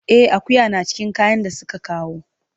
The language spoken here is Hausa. E, akuya na cikin kayan da suka kawo.